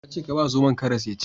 Na ce ka ba zomon karas ya ci